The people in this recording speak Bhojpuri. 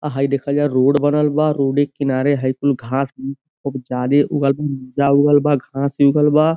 आ हई देखल जा रोड़ बनल बा। रोड़े के किनारे हई कुल घांस उ खूब जादे उगल उगल बा घांसी उगल बा।